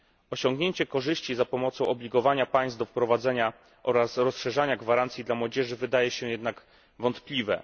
Osiągnięcie korzyści poprzez zobligowanie państw do wprowadzenia i rozszerzania gwarancji dla młodzieży wydaje się jednak wątpliwe.